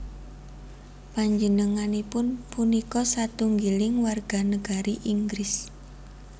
Panjenenganipun punika satunggiling warganagari Inggris